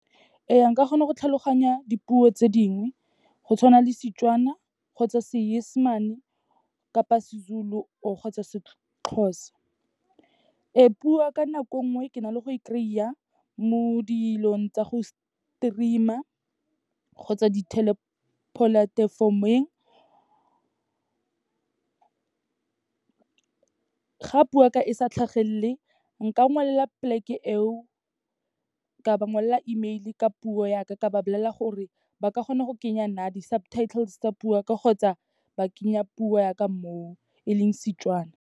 Ee, nka kgona go tlhaloganya dipuo tse dingwe, go tshwana le Setswana kgotsa Seesemane kapa seZulu kgotsa seXhosa. Ee, puo ya ka nako nngwe, ke na le go e kry-a mo dilong tsa go stream-a kgotsa ditelepolatefomoeng. Ga puo yaka e sa tlhagelele, nka ngwalela plek-e eo, ka ba ngwalela email-e ka puo yaka, ka ba bolelela gore ba ka kgona go kenya di-subtitles tsa puo yaka kgotsa ba kenya puo yaka mo, e leng Setswana.